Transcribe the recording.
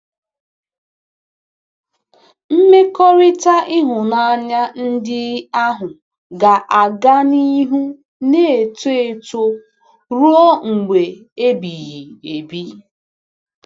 Mmekọrịta ịhụnanya ndị ahụ ga-aga n'ihu na-eto eto ruo mgbe ebighị ebi.